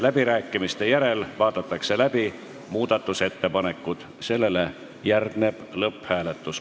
Läbirääkimiste järel vaadatakse läbi muudatusettepanekud, sellele järgneb lõpphääletus.